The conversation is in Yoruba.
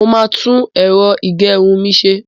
Mo máa tún ẹ̀rọ ìgẹrun mi ṣe.